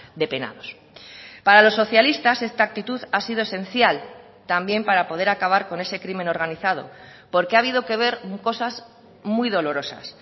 de penados para los socialistas esta actitud ha sido esencial también para poder acabar con ese crimen organizado porque ha habido que ver cosas muy dolorosas